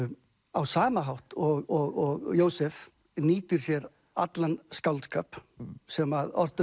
á sama hátt og Jósef nýtir sér allan skáldskap sem ortur